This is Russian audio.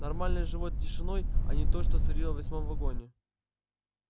нормальной живой тишиной а не той что царила в восьмом вагоне